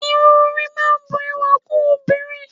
Irun orí máa ń bu ẹwà kún obìnrin